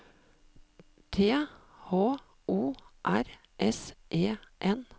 T H O R S E N